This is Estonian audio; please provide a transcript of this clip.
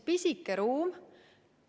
See on pisike ruum.